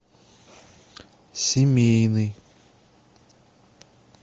семейный